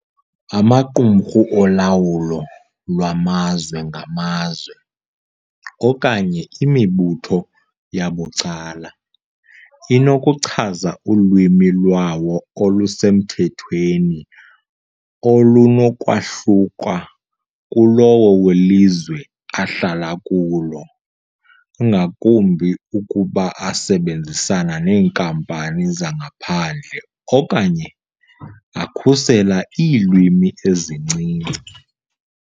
Amaqumrhu olawulo lwamazwe ngamazwe, okanye imibutho yabucala, inokuchaza ulwimi lwawo olusemthethweni olunokwahluka kulowo welizwe ahlala kulo, ngakumbi ukuba asebenzisana neenkampani zangaphandle okanye akhusela iilwimi ezincinci.